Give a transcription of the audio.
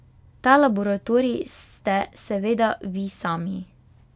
Ta laboratorij ste seveda vi sami.